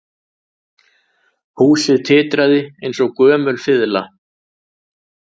Húsið titraði eins og gömul fiðla